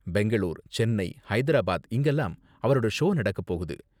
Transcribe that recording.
பெங்களூர், சென்னை, ஹைதராபாத் இங்கலாம் அவரோட ஷோ நடக்கப் போகுது.